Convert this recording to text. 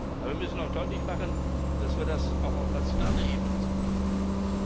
Aber wir müssen auch deutlich machen, dass uns das auch auf nationaler Ebene entgegenkommt.